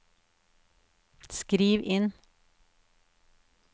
skriv inn